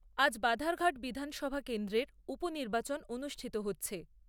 আজ বাধারঘাট বিধানসভা কেন্দ্রের উপনির্বাচন অনুষ্ঠিত হচ্ছে।